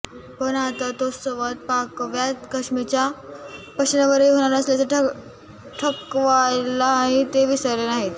पण आता तो संवाद पाकव्याप्त काश्मीरच्या प्रश्नावरही होणार असल्याचे ठणकवायलाही ते विसरले नाहीत